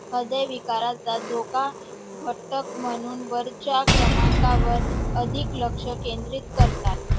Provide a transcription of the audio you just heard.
हृदयविकाराचा धोका घटक म्हणून वरच्या क्रमांकावर अधिक लक्ष केंद्रित करतात